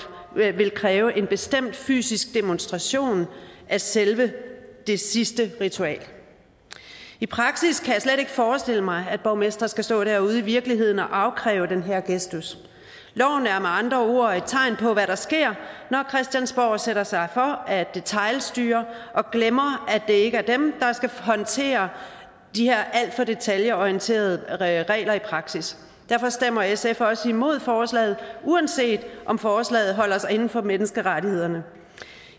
vil kræve en bestemt fysisk demonstration af selve det sidstnævnte ritual i praksis kan jeg slet ikke forestille mig at borgmestre skal stå derude i virkeligheden og afkræve den her gestus loven er med andre ord et tegn på hvad der sker når christiansborg sætter sig for at detailstyre og glemmer at det ikke er dem der skal håndtere de her alt for detailorienterede regler i praksis derfor stemmer sf også imod forslaget uanset om forslaget holder sig inden for menneskerettighederne